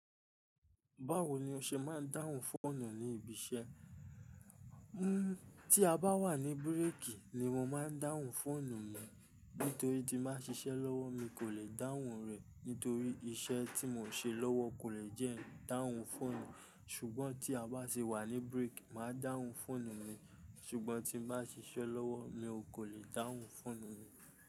Báwo ni o ṣe máa ń dáhùn fóònù ní ibi iṣẹ́? Hmm, tí a bá wà ní break ni mo máa ń dáhùn fóònù mi. Nítorí tí máa ń ṣiṣẹ́ lọ́wọ́ mi kò lè dáhùn rẹ̀, nítorí iṣẹ́ tí mò ń ṣe lọ́wọ́ kò lè jẹ́ dáhùn fóònù. Ṣùgbọ́n tí a bá ṣe wà ní break, màá dáhùn fóònù mi. Ṣùgbọ́n tí bá ṣiṣẹ́ lọ́wọ́ mi ò lè dáhùn fóònù mi.